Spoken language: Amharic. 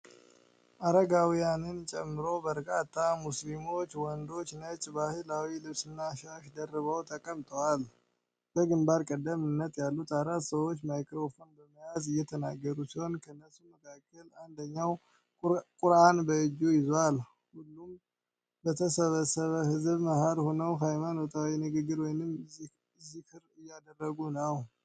አረጋውያንን ጨምሮ በርካታ ሙስሊም ወንዶች ነጭ ባህላዊ ልብስና ሻሽ ደርበው ተቀምጠዋል። በግንባር ቀደምት ያሉት አራት ሰዎች ማይክሮፎን በመያዝ እየተናገሩ ሲሆን፤ ከነሱም መካከል አንደኛው ቁርአን በእጁ ይዟል። ሁሉም በተሰበሰበ ሕዝብ መሃል ሆነው ሃይማኖታዊ ንግግር ወይም ዚክር እያደረጉ ነው።